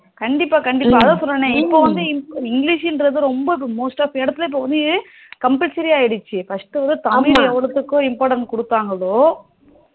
கண்டிப்பா கண்டிப்பா அதான் சொன்னனே இப்போ வந்து english ன்றது ரொம்ப most off இடத்துல வந்து இப்போ வந்து compulsory ஆக்கிடுச்சி first வந்து தமிழ் எவ்வளத்துக்ககோ importance குடுததாங்களோ